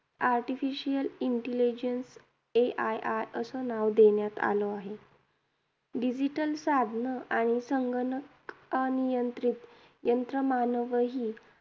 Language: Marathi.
Artificial intelligence AII असं नाव देण्यात आलं आहे. Digital साधनं आणि संगणक अनियंत्रित यंत्रमानवही